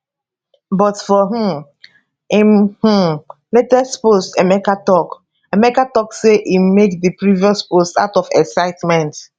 but for um im um latest post emeka tok emeka tok say im make di previous post out of excitement